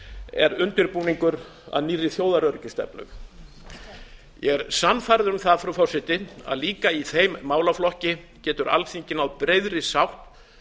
er undirbúningur að nýrri þjóðaröryggisstefnu ég er sannfærður um að líka í þessum málaflokki getur alþingi náð breiðri sátt